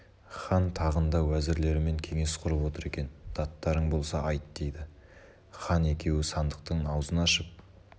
хан тағында уәзірлерімен кеңес құрып отыр екен даттарың болса айт дейді хан екеуі сандықтың аузын ашып